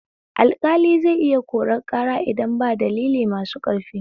Alƙali zai iya korar ƙara idan ba dalilai masu ƙarfi